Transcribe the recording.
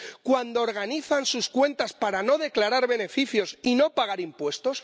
¿Cuando organizan sus cuentas para no declarar beneficios y no pagar impuestos?